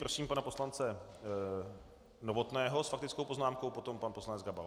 Prosím pana poslance Novotného s faktickou poznámkou, potom pan poslanec Gabal.